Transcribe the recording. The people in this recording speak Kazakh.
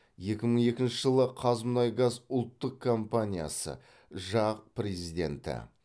екі мың екінші жылы қазмұнайгаз ұлттық компаниясы жақ президенті